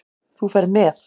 Þú ferð með